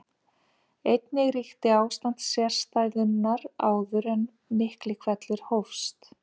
Einnig ríkti ástand sérstæðunnar áður en Miklihvellur hófst.